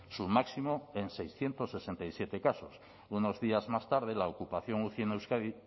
su máximo en seiscientos sesenta y siete casos unos días más tarde la ocupación uci en euskadi